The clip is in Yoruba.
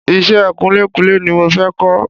Iṣẹ́ kunlékunlé ni mo fẹ́ kọ́